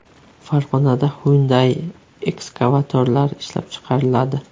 Farg‘onada Hyundai ekskavatorlari ishlab chiqariladi.